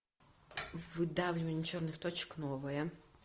выдавливание черных точек новое